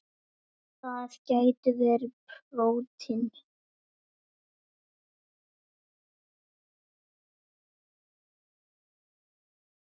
Það gætu verið prótín.